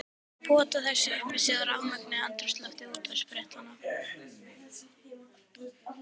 Pota þessu upp í sig í rafmögnuðu andrúmslofti útvarpsfréttanna.